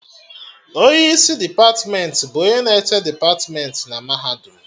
Onye isi depatmentị bụ onye na-eche depatmentị na mahadum